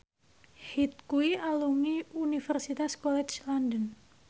Hyde kuwi alumni Universitas College London